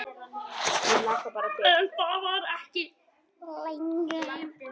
En þar var ekki lengi.